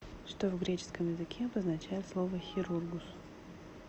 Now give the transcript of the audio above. что в греческом языке обозначает слово хирургус